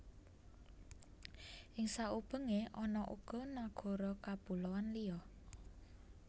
Ing saubengé ana uga nagara kapuloan liya